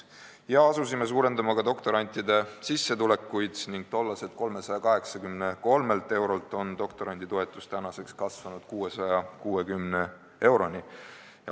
Asusime suurendama ka doktorantide sissetulekuid: tollaselt 383 eurolt on doktoranditoetus tänaseks kasvanud 660 eurole.